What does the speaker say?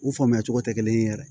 U faamuya cogo tɛ kelen ye yɛrɛ